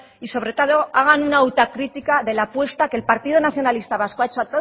y sobre todo hagan una autocritica de la puesta que el partido nacionalista vasco ha hecho